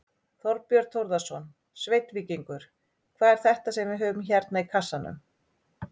Þorbjörn Þórðarson: Sveinn Víkingur, hvað er þetta sem við höfum hérna í kassanum?